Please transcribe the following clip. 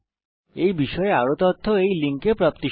এই বিষয় বিস্তারিত তথ্য এই লিঙ্ক এ প্রাপ্তিসাধ্য